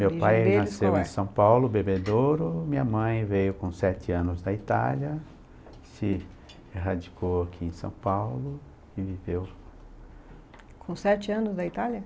Meu pai nasceu em São Paulo, Bebedouro, minha mãe veio com sete anos da Itália, se erradicou aqui em São Paulo e viveu... Com sete anos da Itália?